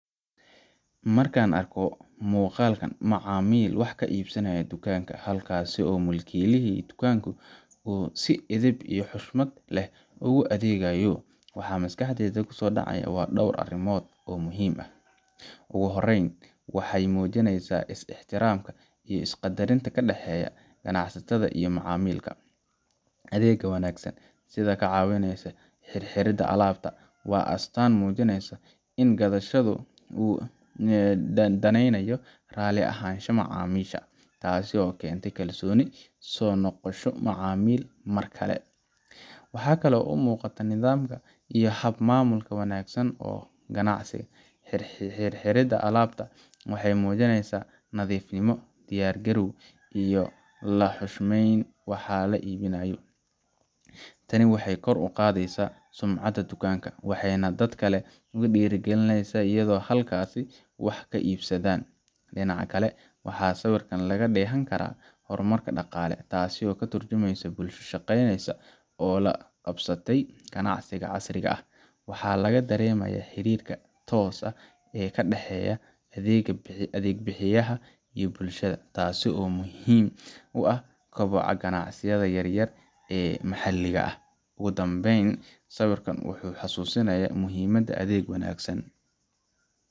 Marka aan arko muuqaalka macmiil wax ka iibsanaya dukaanka, halkaasoo mulkiilaha dukaanku si edeb iyo xushmad leh ugu adeegayo, waxaa maskaxdayda ku soo dhacaya dhowr arrimood oo muhiim ah. Ugu horreyn, waxay muujinaysaa is-ixtiraam iyo is-qaddarin u dhexeysa ganacsadaha iyo macaamilka. Adeegga wanaagsan, sida ka caawinta xirxiridda alaabta, waa astaan muujinaysa in ganacsaduhu u daneynayo raalli ahaanshaha macaamiisha, taasoo keenta kalsooni iyo soo noqosho macmiilka mar kale. Waxaa kale oo muuqata nidaam iyo hab maamul wanaagsan oo ganacsi. Xirxiridda alaabta waxay muujinaysaa nadiifnimo, diyaargarow, iyo in la xushmeeyo waxa la iibinayo. Tani waxay kor u qaadaysaa sumcadda dukaanka, waxayna dadka kale ku dhiirrigelinaysaa inay halkaas wax ka iibsadaan Dhinaca kale, waxaa sawirka laga dheehan karaa horumar dhaqaale, taasoo ka tarjumaysa bulsho shaqeyneysa oo la qabsatay ganacsiga casriga ah. Waxaa laga dareemayaa xiriirka tooska ah ee u dhexeeya adeeg bixiyaha iyo bulshada, taasoo muhiim u ah koboca ganacsiyada yaryar ee maxalliga ah. Ugu dambeyn, sawirkan wuxuu xasuusinayaa muhiimadda adeeg wanaagsan,